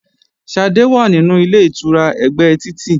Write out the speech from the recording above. Ṣadé wà nínú Ilé-ìtura ẹ̀gbẹ́ títì